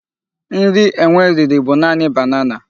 Nri enwe riri bụ naanị banana.